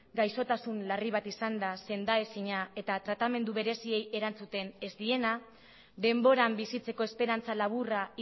gaixotasun larri bat izanda senda ezina eta tratamendu bereziei erantzuten ez diena denboran bizitzeko esperantza laburra